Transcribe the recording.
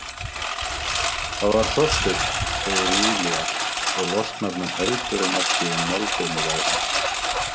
Það var Þorsteinn, segir Júlía og losnar nú heldur en ekki um málbeinið á henni.